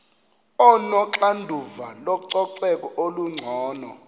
onoxanduva lococeko olungcono